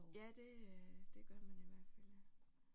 Ja det øh det gør man i hvert fald ja